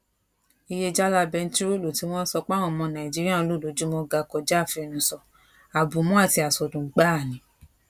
iye jálá bẹntiróòlù tí wọn sọ páwọn ọmọ nàìjíríà ń lò lójúmọ ga kọjá àfẹnusọ àbùmọ àti àsọdùn gbáà ni